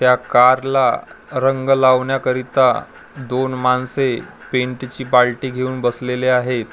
त्या कारला रंग लावण्याकरीता दोन माणसे पेन्टची बाल्टी घेऊन बसलेले आहेत .